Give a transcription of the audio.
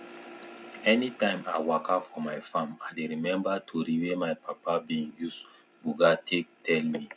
anytime i walka for my farm i dey remember tori wey my papa be use buga take tell me